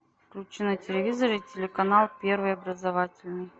включи на телевизоре телеканал первый образовательный